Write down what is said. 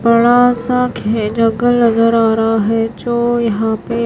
बड़ा सा खे जंगल नजर आ रहा है जो यहां पे--